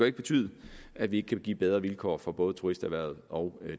ikke betyde at vi ikke kan give bedre vilkår for både turisterhvervet og